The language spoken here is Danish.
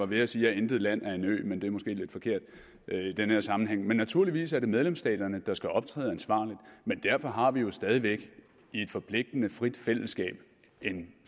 ved at sige at intet land er en ø men det er måske lidt forkert i den her sammenhæng naturligvis er det medlemsstaterne der skal optræde ansvarligt men derfor har vi jo stadig væk i et forpligtende frit fællesskab en